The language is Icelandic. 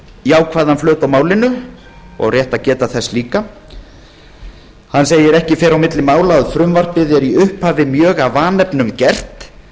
jákvæðan flöt á málinu og rétt að geta þess líka hann segir með leyfi forseta ekki fer á milli mála að frumvarpið er í upphafi mjög af vanefnum gert